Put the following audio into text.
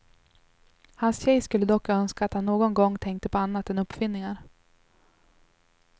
Hans tjej skulle dock önska att han någon gång tänkte på annat än uppfinningar.